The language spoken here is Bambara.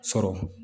Sɔrɔ